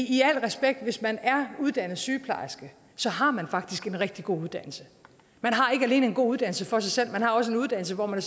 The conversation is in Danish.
i al respekt hvis man er uddannet sygeplejerske så har man faktisk en rigtig god uddannelse man har ikke alene en god uddannelse for sig selv man har også en uddannelse hvor man